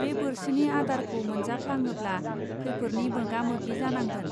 बे बोरसिनि आदारखौ मोनजा फ्लाङोब्ला खैफोरनि मोगा मोगि जानांगोन.